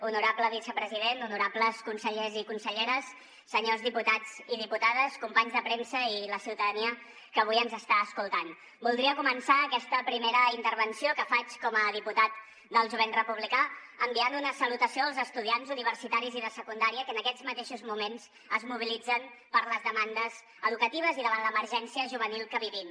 honorable vicepresident honorables consellers i conselleres senyors diputats i diputades companys de premsa i la ciutadania que avui ens està escoltant voldria començar aquesta primera intervenció que faig com a diputat del jovent republicà enviant una salutació als estudiants universitaris i de secundària que en aquests mateixos moments es mobilitzen per les demandes educatives i davant l’emergència juvenil que vivim